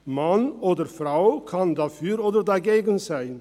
Mann oder Frau kann dafür oder dagegen sein.